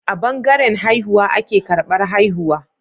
A bangaran haihuwa ake karbar haihuwa